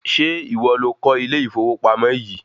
Ṣé ìwọ lo kọ́ ilé ìfowópamọ̀ yìí?